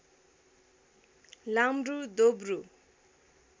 लाम्ब्रु दोब्रु